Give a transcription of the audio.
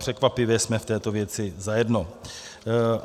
Překvapivě jsme v této věci zajedno.